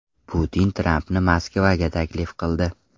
Putin Trampni Moskvaga taklif qildi.